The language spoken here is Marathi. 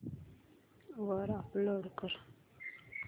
वर अपलोड कर